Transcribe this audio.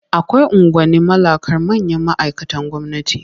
Akwai unguwanni mallakar manyan ma'aikatan gwamnati.